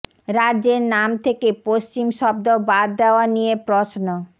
রাজ্যের নাম থেকে পশ্চিম শব্দ বাদ দেওয়া নিয়ে প্রশ্ন